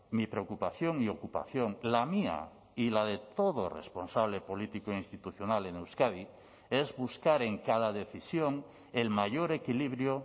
mi preocupación y ocupación la mía y la de todo responsable político institucional en euskadi es buscar en cada decisión el mayor equilibrio